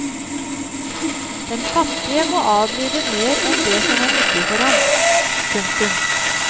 Den fattige må adlyde mer enn det som er nyttig for ham. punktum